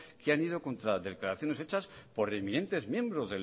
que han ido contra declaraciones hechas por eminentes miembros